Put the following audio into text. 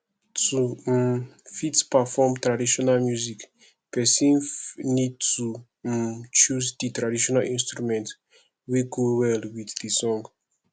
to um fit perform traditional music person need to um choose di traditional instrument wey go well with di song